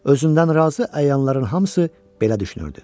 Özündən razı əyanların hamısı belə düşünürdü.